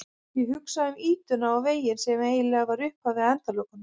Ég hugsa um ýtuna og veginn sem eiginlega var upphafið að endalokunum.